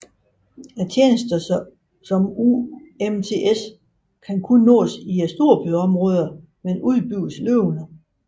Tjenester som UMTS kan kun nås i storbyområder men udbygges løbende